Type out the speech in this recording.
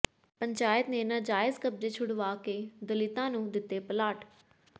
ਪੰਚਾਇਤ ਨੇ ਨਾਜਾਇਜ਼ ਕਬਜ਼ੇ ਛੁਡਵਾ ਕੇ ਦਲਿਤਾਂ ਨੂੰ ਦਿੱਤੇ ਪਲਾਟ